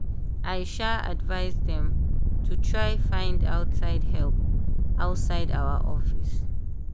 i um advice dem to try find outside help outside our office.